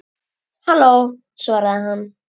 Halló, svaraði hann.